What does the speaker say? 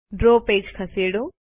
draw page ખસેડો